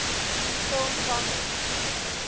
film genres